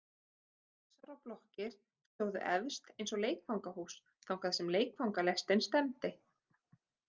Kassar og blokkir stóðu efst eins og leikfangahús þangað sem leikfangalestin stefndi.